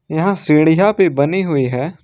यहां सीढ़ियां पे बनी हुई है।